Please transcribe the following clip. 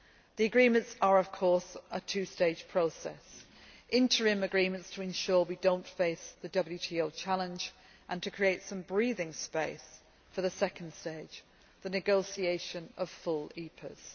The agreements are of course a two stage process interim agreements to ensure we do not face the WTO challenge and to create some breathing space for the second stage, the negotiation of full EPAs.